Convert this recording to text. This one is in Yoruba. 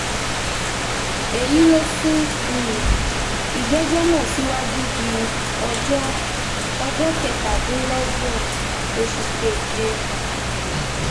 ẹ̀yìn èyí ló sún um ìgbẹ́jọ́ náà síwájú di ọjọ́ ọjọ́ kẹtàdínlọ́gbọ̀n oṣù keje um